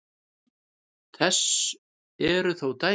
Þess eru þó dæmi.